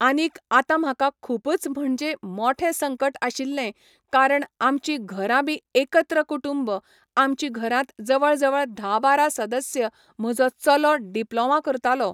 आनीक आता म्हाका खूबच म्हणजे मोठे संकट आशिल्ले कारण आमची घरां बी एकत्र कुटूंब आमची घरांत जवळ जवळ धा बारा सदस्य म्हजो चलो डिप्लोमा करतालो